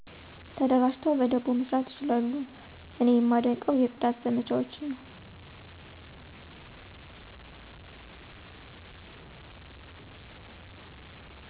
ተደራጅተው በደቦ መስራት ይችላሉ። እኔ የማደንቀው የጽዳት ዘመቻዎችን ነው።